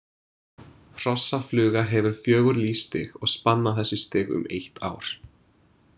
Hrossafluga hefur fjögur lífsstig og spanna þessi stig um eitt ár.